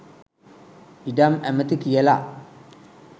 ඉඩම් ඇමති කියල